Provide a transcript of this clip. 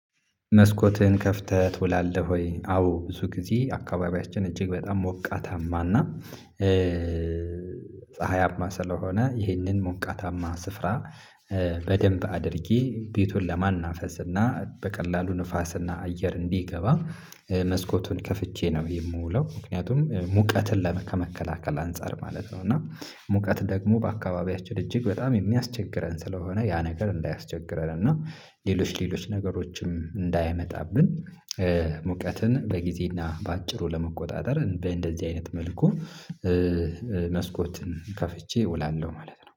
መስኮትህን ከፍተህ ትውላለህ ወይ? አዎ ብዙ ጊዜ አካባቢያችን እጅግ በጣም ሞቃታማና ፀሀያማ ስለሆነ ይህንን ሞቃታማ ስፍራ። በደንብ አድርጌ ቤቱን ለማናፈስ እና በቀላሉ ንፋስ እና አየር እንዲገባ መስኮቱን ከፍቼ ነው የምውለው ምክንያቱም ሙቀትን ለመከላከል አንፃር ማለት ነው። እና ሙቀት ደግሞ በአካባቢያችን እጅግ በጣም የሚያስቸግረን ስለሆነ ያ ነገር እንዳያስቸግረን እና ሌሎች ሌሎች ነገሮችም እንዳያመጣብን። ሙቀትን በጊዜና በአጭሩ ለመቆጣጠር በእንደዚህ አይነት መልኩ መስኮትን ከፍቼ እውላለሁ ማለት ነው